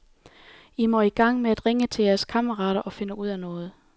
I må i gang med at ringe til jeres kammerater og finde ud af noget.